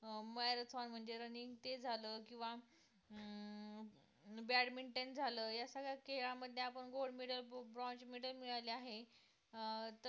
अं Marathon म्हणजे running ते झालं किंवा अं badminton झालं, या सगळ्या खेळामध्ये आपण gold medal, bronze medal मिळवले आहे अं तर